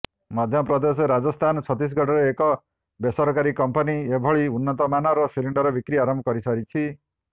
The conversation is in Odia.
ମଧ୍ୟପ୍ରଦେଶ ରାଜସ୍ଥାନ ଛତିଶଗଡ଼ରେ ଏକ ବେସରକାରୀ କମ୍ପାନୀ ଏଭଳି ଉନ୍ନତମାନର ସିଲିଣ୍ଡର ବିକ୍ରି ଆରମ୍ଭ କରିସାରିଛି